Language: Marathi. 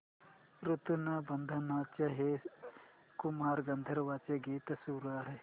ऋणानुबंधाच्या हे कुमार गंधर्वांचे गीत सुरू कर